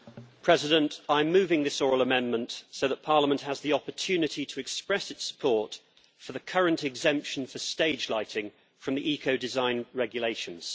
Madam President, I am moving this oral amendment so that Parliament has the opportunity to express its support for the current exemption for stage lighting from the ecodesign regulations.